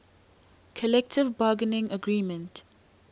collective bargaining agreement